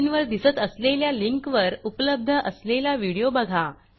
स्क्रीनवर दिसत असलेल्या लिंकवर उपलब्ध असलेला व्हिडिओ बघा